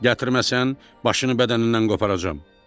Gətirməsən, başını bədənindən qoparacam.